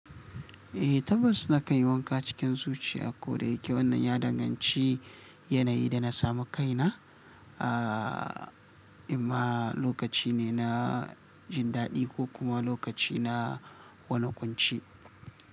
Eh, tabbas na kai wanka cikin zuciya. Ko da yake wannan ya danganci yanayi da na samu kaina, amma lokaci ne na jin daɗi ko kuma lokaci na wani kunci.